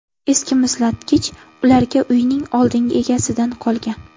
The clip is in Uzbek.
Eski muzlatkich ularga uyning oldingi egasidan qolgan.